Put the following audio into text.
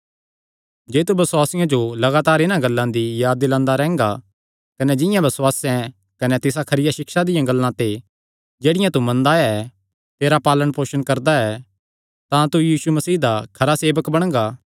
जे तू बसुआसियां जो लगातार इन्हां गल्लां दी याद दिलांदा रैंह्गा कने जिंआं बसुआस कने तिसा खरिया सिक्षा दियां गल्लां ते जेह्ड़ियां तू मनदा आया ऐ तेरा पालण पोसण करदा ऐ तां तू यीशु मसीह दा खरा सेवक बणगा